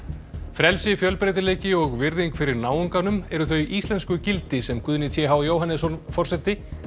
frelsi fjölbreytileiki og virðing fyrir náunganum eru þau íslensku gildi sem Guðni t h Jóhannesson forseti